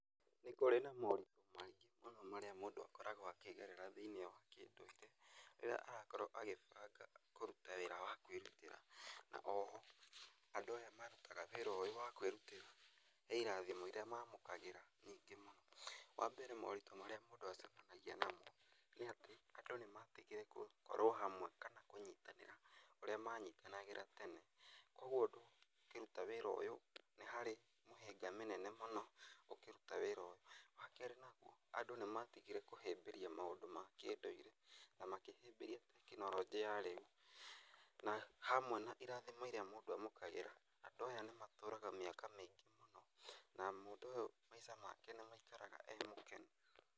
Nĩ kũrĩ na moritũ maingĩ mũno marĩa mũndũ akoragwo akĩgerera thĩiniĩ wa kĩndũire rĩrĩa arakorwo akĩbanga kũruta wĩra wa kwĩrutĩra. Na oho andũ aya marutaga wĩra ũyũ wa kwĩrutĩra he irathimo iria mamũkagĩra. Wa mbere moritũ marĩa mũndũ acemanagia namo nĩ atĩ andũ nĩ matigire gũkorwo hamwe kana kũnyitanĩra ũrĩa manyitanagĩra tene. Koguo ũkĩruta wĩra ũyũ nĩ harĩ mũhĩnga mũnene mũno ũkĩruta wĩra ũyũ. Wa kerĩ naguo, andũ nĩ matigire kũhĩmbĩria maũndũ ma kĩndũire na makĩhĩmbĩria tekinoronjĩ ya rĩu. Na hamwe na irathimo iria mũndũ amũkagĩra andũ aya nĩ matũraga mĩaka mĩingĩ mũno na mũndũ ũyũ maica make nĩ maikaraga e mũkenu.